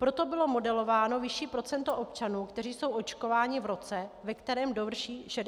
Proto bylo modelováno vyšší procento občanů, kteří jsou očkováni v roce, ve kterém dovrší 65 let.